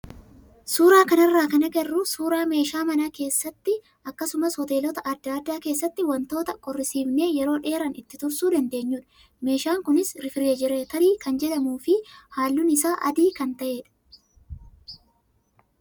Suuraa kanarraa kan agarru suuraa meeshaa mana keessatti akkasumas hoteelota adda addaa keessatti wantoota qorrisiifnee yeroo dheeraa ittiin tursuu dandaeenyudha. Meeshaan kunis riifrijereetarii kan jedhamuu fi halluun isaa adii kan ta'edha.